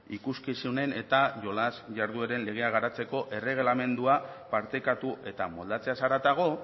ikuskizunen eta jolas jardueren legea garatzeko erregelamendua partekatu eta moldatzeaz haratago